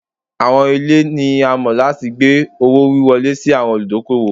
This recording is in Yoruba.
Awọn ile ni a mọ lati gbe owo-wiwọle si awọn oludokoowo